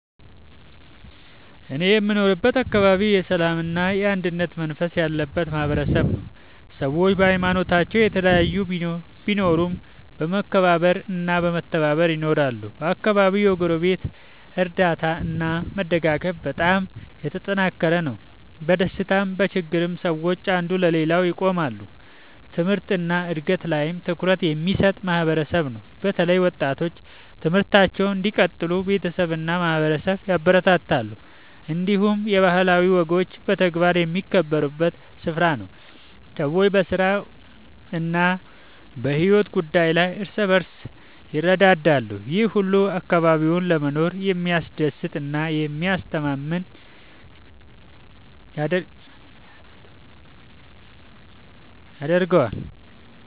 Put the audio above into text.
እኔ የምኖርበት አካባቢ የሰላምና የአንድነት መንፈስ ያለበት ማህበረሰብ ነው። ሰዎች በሀይማኖታቸው የተለያዩ ቢሆኑም በመከባበር እና በመተባበር ይኖራሉ። በአካባቢው የጎረቤት እርዳታ እና መደጋገፍ በጣም የተጠናከረ ነው። በደስታም በችግርም ሰዎች አንዱ ለሌላው ይቆማሉ። ትምህርት እና እድገት ላይም ትኩረት የሚሰጥ ማህበረሰብ ነው። በተለይ ወጣቶች ትምህርታቸውን እንዲቀጥሉ ቤተሰብ እና ማህበረሰብ ያበረታታሉ። እንዲሁም የባህላዊ ወጎች በተግባር የሚከበሩበት ስፍራ ነው። ሰዎች በስራ እና በሕይወት ጉዳይ ላይ እርስ በርስ ይረዳዳሉ። ይህ ሁሉ አካባቢውን ለመኖር የሚያስደስት እና የሚያስተማማኝ ያደርገዋል።